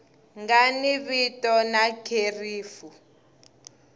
nga ni vito na kherefu